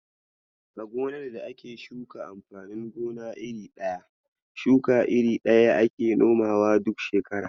A gonar da ake shuka amfanin gona iri ɗaya, shuka iri ɗaya ake nomawa duk shekara.